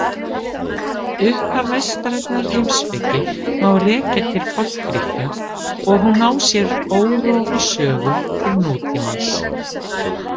Upphaf vestrænnar heimspeki má rekja til Forngrikkja og hún á sér órofa sögu til nútímans.